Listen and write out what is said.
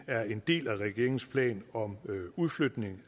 er en del af regeringens plan om udflytning